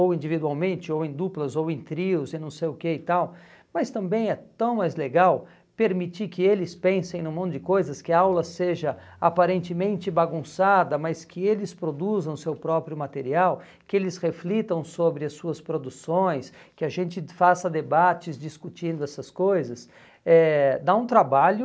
ou individualmente, ou em duplas, ou em trios, e não sei o que e tal, mas também é tão mais legal permitir que eles pensem num monte de coisas, que a aula seja aparentemente bagunçada, mas que eles produzam seu próprio material, que eles reflitam sobre as suas produções, que a gente faça debates discutindo essas coisas, eh dá um trabalho...